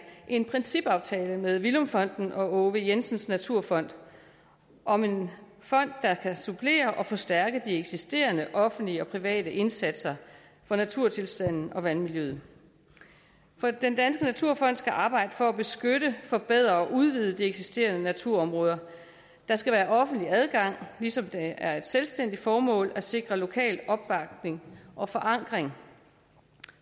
en principaftale med villum fonden og aage v jensen naturfond om en fond der kan supplere og forstærke de eksisterende offentlige og private indsatser for naturtilstanden og vandmiljøet den danske naturfond skal arbejde for at beskytte forbedre og udvide de eksisterende naturområder der skal være offentlig adgang ligesom det er et selvstændigt formål at sikre lokal opbakning og forankring